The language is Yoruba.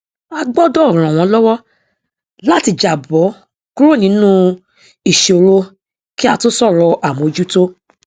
a gbọdọ ran wọn lọwọ láti jàbọ kúrò nínú ìsòro kí á tó sọrọ àmójútó